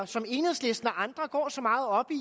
som enhedslisten og andre går så meget op i